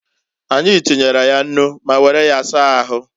Anyi tinyere ya nnu ma were ya saa ahu.